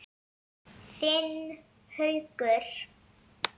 Þinn Haukur.